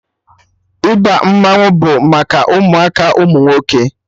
Ịba mmanwụ bụ maka ụmụaka ụmụ nwoke